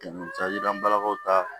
Cajila balakaw ta